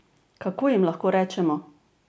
Kako jim lahko rečemo?